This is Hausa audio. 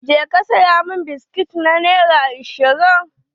Je ka saya min biski na nera ashirin